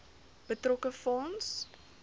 betrokke fonds